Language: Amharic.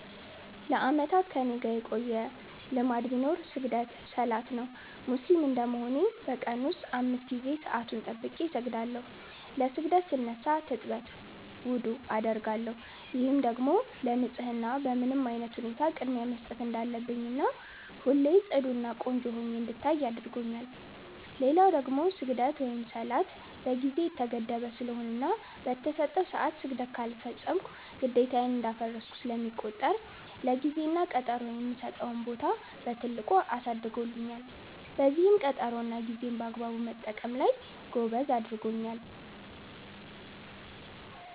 ለአመታት ከኔጋ የቆየ ልማድ ቢኖር ስግደት(ሰላት) ነው። ሙስሊም እንደመሆኔ በ ቀን ውስጥ 5 ጊዜ ሰአቱን ጠብቄ እሰግዳለው። ለ ስግደት ስነሳ ትጥበት(ውዱዕ) አደርጋለው፤ ይህም ደግሞ ለ ንፀህና በምንም አይነት ሁኔታ ቅድሚያ መስጠት እንዳለብኝና ሁሌ ፅዱ እና ቆንጆ ሁኜ እንድቆይ አድርጎኛል። ሌላው ደግሞ ስግደት(ሰላት) በ ጊዜ የተገደበ ስለሆነና በ ተሰጠው ሰዐት ስግደት ካልፈፀምኩ ግዴታዬን እንዳፈረስኩ ስለሚቆጠር ለ ጊዜ እና ቀጠሮ የምሰጠውን ቦታ በትልቁ አሳድጎልኛል፤ በዚህም ቀጠሮ እና ጌዜን በአግባቡ መጠቀም ላይ ጎበዝ አድርጎኛል።